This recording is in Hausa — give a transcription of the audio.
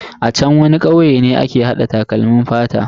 A chan wani kauye ne ake hada takalmin fata.